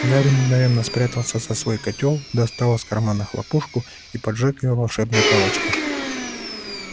гарри мгновенно спрятался за свой котёл достал из кармана хлопушку и поджёг её волшебной палочкой